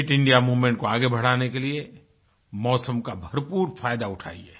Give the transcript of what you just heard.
fit India moment को आगे बढ़ाने के लिए मौसम का भरपूर फ़ायदा उठाइए